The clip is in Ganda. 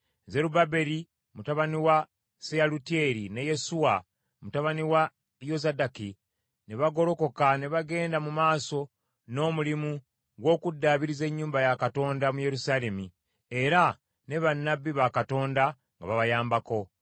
Zerubbaberi mutabani wa Seyalutyeri ne Yesuwa mutabani wa Yozadaki ne bagolokoka ne bagenda mu maaso n’omulimu gw’okuddaabiriza ennyumba ya Katonda mu Yerusaalemi, era ne bannabbi ba Katonda nga babayambako.